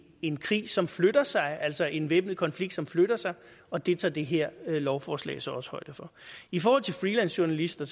en krig som flytter sig altså en væbnet konflikt som flytter sig og det tager det her lovforslag så også højde for i forhold til freelancejournalister